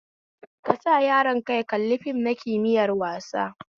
Kasa yaron ka ya kalli fim na kimiyar wasa